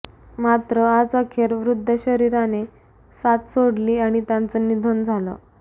मात्र आज अखेर वृद्ध शरीराने साथ सोडली आणि त्यांचं निधन झालं